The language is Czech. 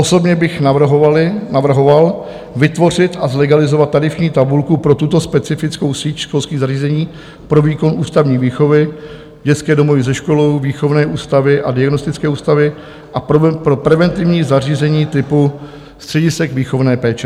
Osobně bych navrhoval vytvořit a zlegalizovat tarifní tabulku pro tuto specifickou síť školských zařízení pro výkon ústavní výchovy, dětské domovy se školou, výchovné ústavy a diagnostické ústavy a pro preventivní zařízení typu středisek výchovné péče.